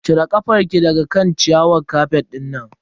Cire kafar ki daga kan ciyawar kafet dinnan.